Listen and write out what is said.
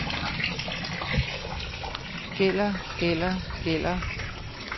gælder gælder gælder